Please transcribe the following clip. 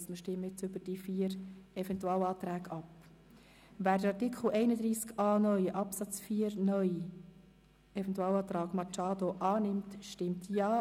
Das heisst, dass wir jetzt über diese vier Eventualanträge abstimmen.